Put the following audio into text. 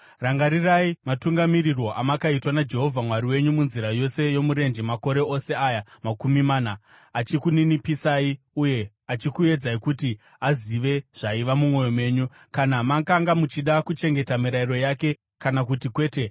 Rangarirai matungamirirwo amakaitwa naJehovha Mwari wenyu munzira yose yomurenje makore ose aya makumi mana, achikuninipisai uye achikuedzai kuti azive zvaiva mumwoyo menyu, kana makanga muchida kuchengeta mirayiro yake kana kuti kwete.